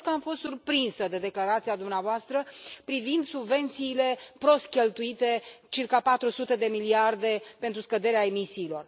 Recunosc că am fost surprinsă de declarația dumneavoastră privind subvențiile prost cheltuite circa patru sute de miliarde pentru scăderea emisiilor.